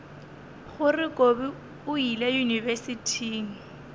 gore kobi o ile yunibesithing